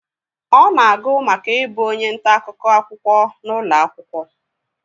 ọ na-agụ maka ibu onye nta-akụkọ akwụkwọ n'ụlọ akwụkwọ